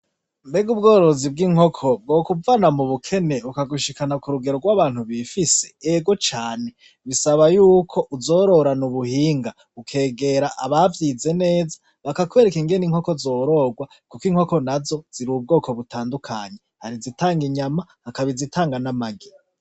Mbega ubworozi bw'inkoko bwokuvana mu bukene bukagushikina k'urugero rw'abantu bifise? Ego cane! bisaba yuko uzororana ubuhinga, ukegera abavyize neza, bakakwereka ingene inkoko zororwa, kuko inkoko nazo ziri ubwoko butandukanye, hari izitanga inyama hakaba izitanga n'amagi.